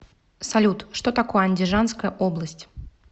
салют что такое андижанская область